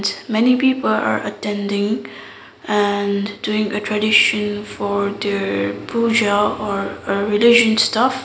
many people are attending and doing a tradition for their pooja or a religion stuff.